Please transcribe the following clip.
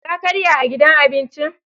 Ka karya a gidan abincin?